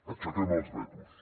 aixequem els vetos